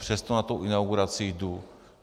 Přesto na tu inauguraci jdu.